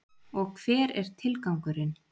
Og hver er tilgangurinn?